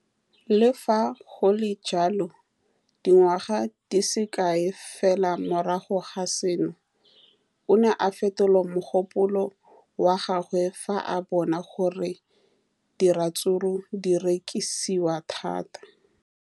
Le fa go le jalo, dingwaga di se kae fela morago ga seno, o ne a fetola mogopolo wa gagwe fa a bona gore diratsuru di rekisiwa thata.